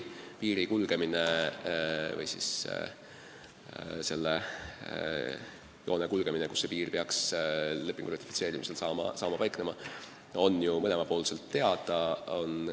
Piiri või selle joone kulgemine on ju mõlemal pool teada.